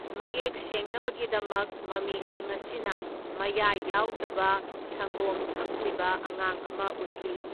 ꯃꯌꯦꯛ ꯁꯦꯡꯅꯕꯒꯤꯗꯃꯛ, ꯃꯃꯤꯁꯤꯡ ꯑꯁꯤꯅ ꯃꯌꯥ ꯌꯥꯎꯗꯕ ꯁꯪꯒꯣꯝ ꯊꯛꯂꯤꯕ ꯑꯉꯥꯡ ꯑꯃ ꯎꯠꯂꯤ꯫